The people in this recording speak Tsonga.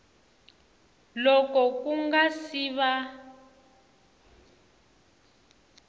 loko ku nga si va